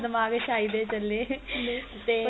ਦਿਮਾਗ ਏ ਸ਼ਾਇਦ ਈ ਚਲੇ ਤੇ